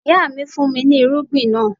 Ìyá mi fún mi ní irúgbìn náà.